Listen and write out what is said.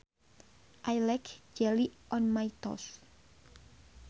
I like jelly on my toast